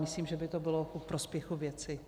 Myslím, že by to bylo ku prospěchu věci.